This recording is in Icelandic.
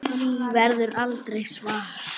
Því verður aldrei svarað.